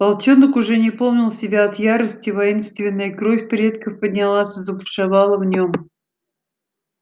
волчонок уже не помнил себя от ярости воинственная кровь предков поднялась и забушевала в нём